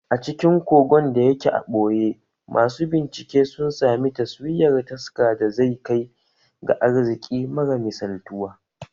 A cikin kogon da yake a ɓoye, masu bincike sun sami taswirar taska da zai kai ga arziƙi mara misaltuwa